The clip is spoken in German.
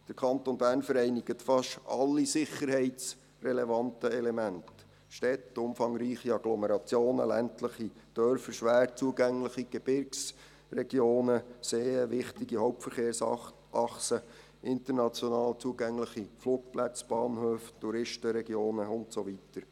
Der Kanton Bern vereinigt fast alle sicherheitsrelevanten Elemente: Städte, umfangreiche Agglomerationen, ländliche Dörfer, schwer zugängliche Gebirgsregionen, Seen, wichtige Hauptverkehrsachsen, international zugängliche Flugplätze, Bahnhöfe, Touristenregionen, und so weiter.